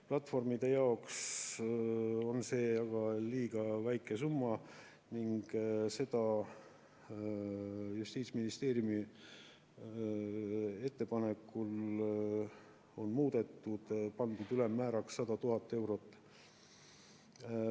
Platvormide jaoks on see aga liiga väike summa ning seda on Justiitsministeeriumi ettepanekul muudetud ja pandud ülemmääraks 100 000 eurot.